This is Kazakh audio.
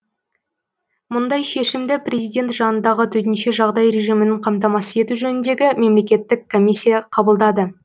мұндай шешімді президент жанындағы төтенше жағдай режимін қамтамасыз ету жөніндегі мемлекеттік комиссия қабылдады